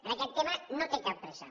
en aquest tema no té cap pressa